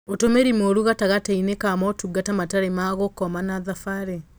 Ũtũmĩri mũũru gatagatĩ-inĩ ka motungata matarĩ ma gũkoma na thabari